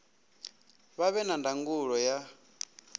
vha vhe na ndangulo ya